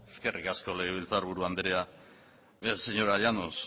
eskerrik asko legebiltzarburu anderea señora llanos